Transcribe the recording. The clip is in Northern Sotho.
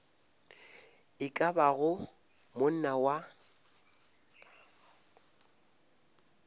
e ka bago monna wa